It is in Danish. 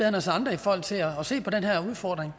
end os andre i forhold til at se på den her udfordring